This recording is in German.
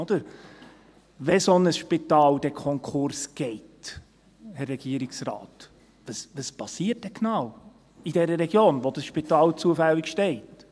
Wenn ein solches Spital Konkurs geht, Herr Regierungsrat, was passiert dann genau in der Region, in der das Spital zufällig steht?